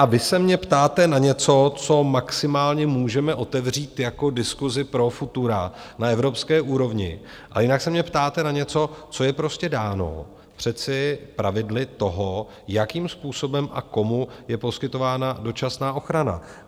A vy se mě ptáte na něco, co maximálně můžeme otevřít jako diskusi pro futura na evropské úrovni, ale jinak se mě ptáte na něco, co je prostě dáno přece pravidly toho, jakým způsobem a komu je poskytována dočasná ochrana.